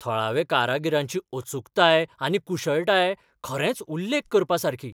थळाव्या कारागिरांची अचूकताय आनी कुशळटाय खरेंच उल्लेख करपासारकी.